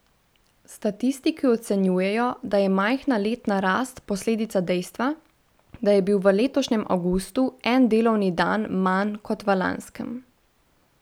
Statistiki ocenjujejo, da je majhna letna rast posledica dejstva, da je bil v letošnjem avgustu en delovni dan manj kot v lanskem.